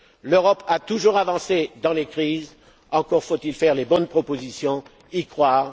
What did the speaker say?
L'Europe a toujours avancé dans les crises, encore faut il faire les bonnes propositions et